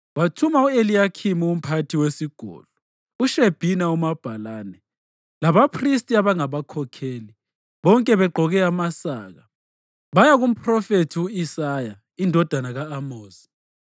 Wathuma u-Eliyakhimu umphathi wesigodlo, uShebhina umabhalane labaphristi abangabakhokheli, bonke begqoke amasaka, baya kumphrofethi u-Isaya indodana ka-Amozi.